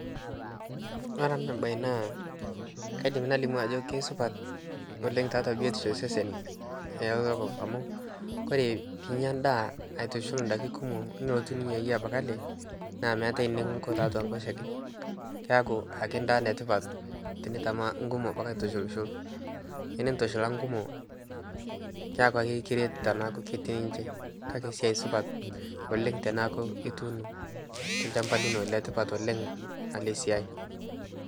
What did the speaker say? kore anaa bai naa kaidim nalimu ajoo keisupat oleng taatua biotisho e sesen e lokop amu kore piinya ndaa aitushul ndaki kumoo nilotu ninyayie abaki alee naa meatai nikinkoo taatua nkoshekee keaku ake ndaa netipat tinitamaa nkumoo abakii aitushulshul tinintushula nkumoo keakuu ake kiret tanaaku ninshee kakee siai supat oleng tanaaku ituuno te lshampa linoo, Letipat oleng alee siai.